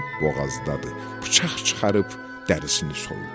Basıb boğazdadı, bıçaq çıxarıb dərisini soydu.